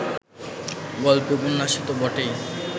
গল্পে-উপন্যাসে তো বটেই